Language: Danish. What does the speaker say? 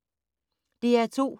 DR2